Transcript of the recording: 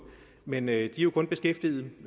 men de er jo kun beskæftiget